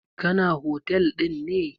Kana. hotel ɗin ne?